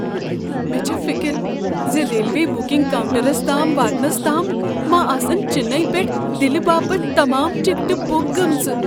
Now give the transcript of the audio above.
مےٚ چھےٚ فکر ز ریلوے بکنگ کاؤنٹرس تام واتنس تام ما آسن چنئی پیٹھ دلہ باپت تمام ٹکٹہ بُک گمژٕ ۔